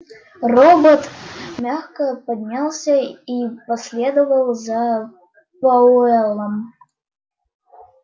робот мягко поднялся и последовал за пауэллом